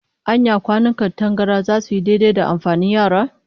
Anya kwanukan tangaran zasu yi daidai da amfanin yara?